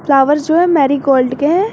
Flowers जो है marigold के हैं।